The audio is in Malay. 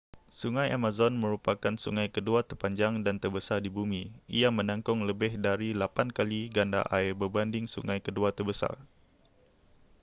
sungai amazon merupakan sungai kedua terpanjang dan terbesar di bumi ia menakung lebih dari 8 kali ganda air berbanding sungai kedua terbesar